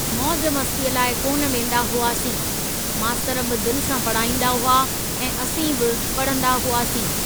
मौज मस्तीअ लाइ कोन वेंदा हुआसीं, मास्तर बि दिल सां पढ़ाईंदा हुआ ऐं असीं बि पढंदा हुआसीं।